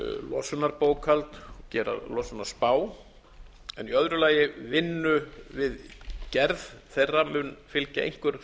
losunarbókhald og gera losunarspá en í öðru lagi mun vinnu við gerð þeirra einhver stofnkostnaður það er